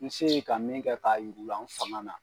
N se ye ka min kɛ k'a yur'u la n fangan na.